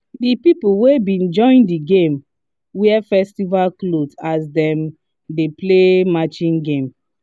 the people wey been join the game wear festival cloth as dem dey play matching game